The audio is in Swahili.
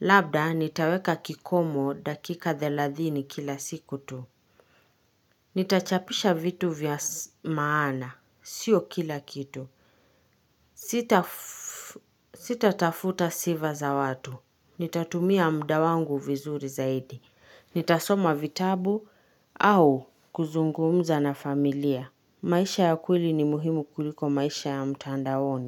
Labda nitaweka kikomo dakika thelathini kila siku tu. Nitachapisha vitu vya maana. Siyo kila kitu. Sita Sitatafuta sifa za watu. Nitatumia muda wangu vizuri zaidi. Nitasoma vitabu au kuzungumza na familia. Maisha ya kweli ni muhimu kuliko maisha ya mtandaoni.